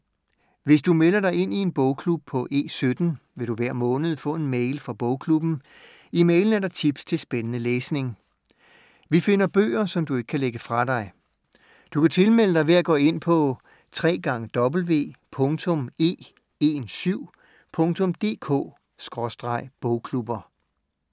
Hvis du melder dig ind i en bogklub på E17, vil du hver måned få en mail fra bogklubben. I mailen er der tips til spændende læsning. Vi finder bøger, som du ikke kan lægge fra dig. Du kan tilmelde dig ved at gå ind på www.e17.dk/bogklubber